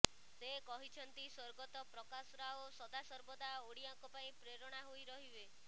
ସେ କହିଛନ୍ତି ସ୍ବର୍ଗତ ପ୍ରକାଶ ରାଓ ସଦାସର୍ବଦା ଓଡ଼ିଆଙ୍କ ପାଇଁ ପ୍ରେରଣା ହୋଇ ରହିବେ